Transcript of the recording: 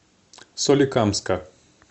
соликамска